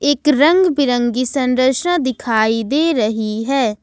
एक रंग बिरंगी संरचना दिखाई दे रही है।